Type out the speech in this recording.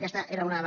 aquesta era una de